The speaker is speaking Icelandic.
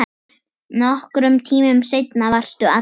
Nokkrum tímum seinna varstu allur.